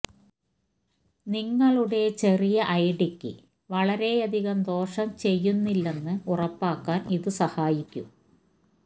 നിങ്ങളുടെ ചെറിയ ഐഡിക്ക് വളരെയധികം ദോഷം ചെയ്യുന്നില്ലെന്ന് ഉറപ്പാക്കാൻ ഇത് സഹായിക്കും